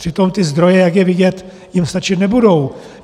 Přitom ty zdroje, jak je vidět, jim stačit nebudou.